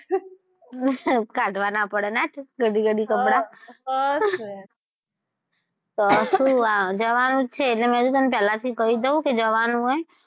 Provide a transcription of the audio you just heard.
કાઢવા ના પડે નાં ઘડી ઘડી કપડાં હા હા જ તો યાર તો શું આ જવાનું છે એટલે મે પેલા થી કહી દવ કે જવાનું છે.